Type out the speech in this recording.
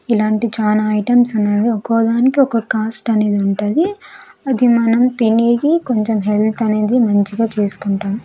ఇలాంటి చాలా ఐటమ్స్ ఉన్నవి ఒక్కోదానికి ఒక్కో కాస్ట్ అనేది ఉంటది అది మనం తినేది కొంచెం హెల్త్ అనేది మంచిగా చేసుకుంటాం.